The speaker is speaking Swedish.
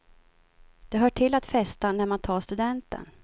Det hör till att festa när man tar studenten.